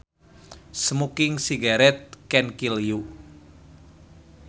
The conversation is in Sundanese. Smoking cigarettes can kill you